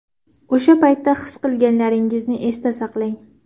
O‘sha paytda his qilganlaringizni esda saqlang.